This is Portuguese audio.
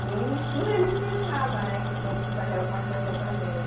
E tudo ele cismava, né, que podiam fazer alguma coisa com a gente.